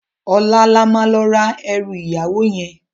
Òlá lá ma lò rá èrù iyáwó yèn